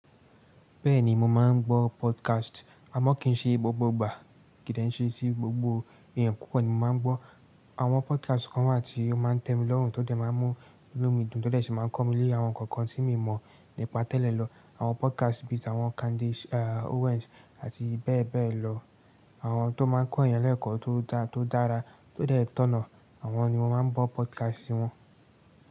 Bẹ́ẹ̀ni mo máa ń gbọ́ podcast. Àmọ́ kì í ṣe gbogbo ìgbà, kì de sesí gbogbo èèyàn. Kúkú ni mo máa ń gbọ́ àwọn podcast kan wá tí ó máa ń tẹ́ mi lọ́rùn, tó dẹ̀ máa ń mú mí lú mi dùn, tó dẹ̀ ṣe máa ń kọ́ mi lé àwọn nǹkan kan tí mi mọ̀ nípa tẹ́lẹ̀ lọ. Àwọn podcast bí i àwọn Candice Owens àti bẹ́ẹ̀ bẹ́ẹ̀ lọ. Àwọn tó máa ń kọ́ ènìyàn lẹ́kọ̀ọ́ tó dára tó dẹ̀ tọ̀nà, àwọn ni mo máa ń gbọ́ podcast wọn.